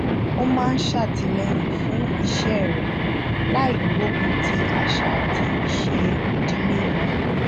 ó máa ń satileyin fún iṣẹ rẹ láì gbogun ti asa ati ise ìdílé won